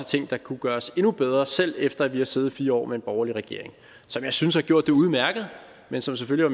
ting der kunne gøres endnu bedre selv efter at vi har siddet fire år med en borgerlig regering som jeg synes har gjort det udmærket men som selvfølgelig